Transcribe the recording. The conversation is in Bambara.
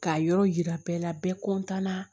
K'a yɔrɔ yira bɛɛ la bɛɛ na